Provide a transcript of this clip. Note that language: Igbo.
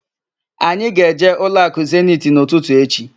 Anyị ga-eje ụlọakụ Zeniti n'ụtụtụ echi.